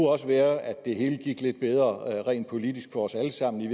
også være at det hele gik lidt bedre rent politisk for os alle sammen